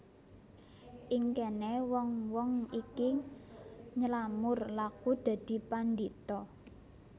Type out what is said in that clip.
Ing kene wong wong iki nylamur laku dadi pandhita